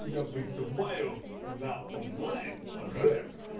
тебя вызываю на онлайн рэп